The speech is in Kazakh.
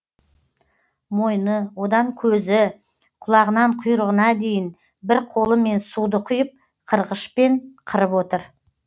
мойны одан көзі құлағынан құйрығына дейін бір қолымен суды құйып қырғышпен қырып отыр